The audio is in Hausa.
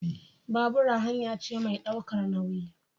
Babura hanya ce mai ɗaukar nauyi